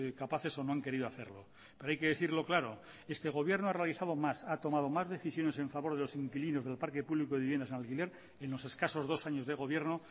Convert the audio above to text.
capaces o no han querido hacerlo pero hay que decirlo claro este gobierno ha realizado más ha tomado más decisiones en favor de los inquilinos del parque público de viviendas en alquiler en los escasos dos años de gobierno